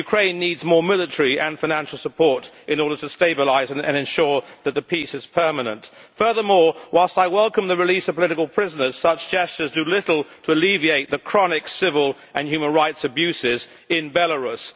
But Ukraine needs more military and financial support in order to stabilise and ensure that the peace is permanent. Furthermore, whilst I welcome the release of political prisoners, such gestures do little to alleviate the chronic civil and human rights abuses in Belarus.